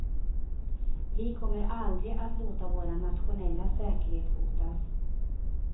Vi kommer aldrig att låta vår nationella säkerhet hotas.